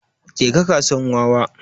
Je kasuwan wawa